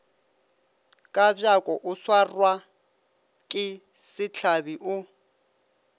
kabjako o swarwake sehlabi o